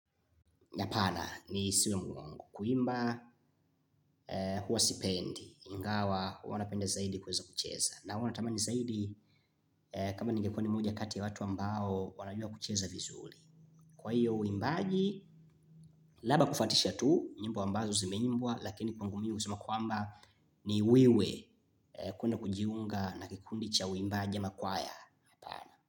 Nyapana ni siwe mwungu, kuimba huwa sipendi, ingawa huwa napende zaidi kuweza kucheza na huwa natamani zaidi kama ningekuwa ni moja ya kati ya watu ambao wanajua kucheza vizuli kwa hiyo uimbaji, labda kufuatisha tu, nyimbo ambazo zime imbwa, lakini kwangu mi usema kuamba ni wiwe. Kuna kujiunga na kikundi cha uimbaji ama kwaya.